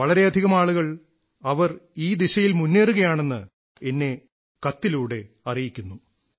വളരെയധികം ആളുകൾ അവർ ഈ ദിശയിൽ മുന്നേറുകയാണെന്ന് എന്നെ കത്തിലൂടെ അറിയിക്കുന്നു